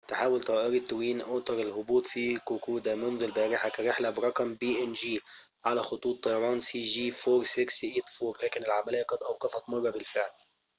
تحاول طائرة توين أوتر الهبوط في كوكودا منذ البارحة كرحلة برقم cg4684 على خطوط طيران png لكن العملية قد أوقفت مرة بالفعل